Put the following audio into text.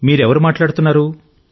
మీరు ఎవరు మాట్లాడుతున్నారు